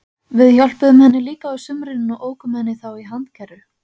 Við hjálpuðum henni líka á sumrin og ókum henni þá í handkerru.